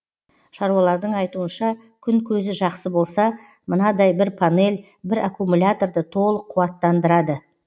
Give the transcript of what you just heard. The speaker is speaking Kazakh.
шаруалардың айтуынша күн көзі жақсы болса мынадай бір панель бір аккумуляторды толық қуаттандырады